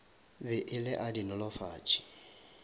be e le a dinolofatši